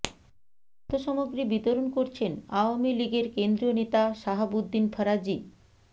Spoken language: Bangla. খাদ্য সামগ্রী বিতরণ করছেন আওয়ামী লীগের কেন্দ্রীয় নেতা শাহাবুদ্দিন ফরাজি